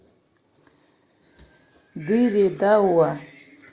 дыре дауа